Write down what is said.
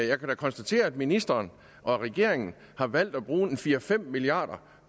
jeg kan da konstatere at ministeren og regeringen har valgt at bruge fire fem milliard